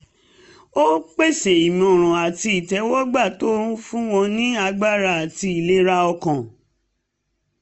ó pèsè ìmọ̀ràn àti ìtẹ́wọ́gba tó ń fún wọn ní agbára àti ìlera ọkàn